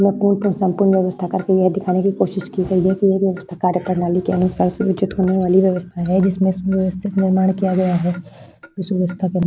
यह पूल को संपूर्ण व्यवस्था करके यह दिखाने की कोशिश की गई है कि यह व्यवस्था कार्य प्रणाली के अनुसार सुयोजित होने वाली व्यवस्था है जिसमें सुव्यवस्थित निर्माण किया गया है इस व्यवस्था के --